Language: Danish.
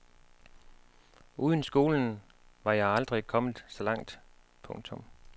Uden skolen var jeg aldrig kommet så langt. punktum